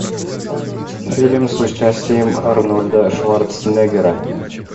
фильм с участием арнольда шварценеггера